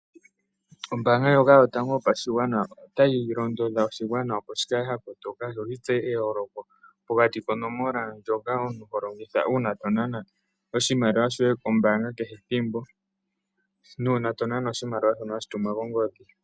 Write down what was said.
Ombaanga yotango yopashigwana otayi londodha oshigwana shi tseye eyooloko pokati konomola yopaumwene ndjono omuntu holongitha kehe thimbo tonana oshimaliwa komayalulilo goombanga nuuna to nana oshimaliwa kongodhi.